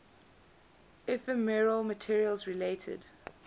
ephemeral materials related